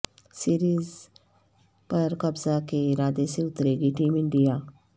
سیریزپر قبضہ کے ارادے سے اترے گی ٹیم انڈیا